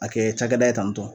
A kɛ cakɛda ye tan tɔn